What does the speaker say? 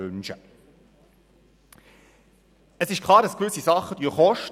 Klar ist, dass gewisse Dinge kosten.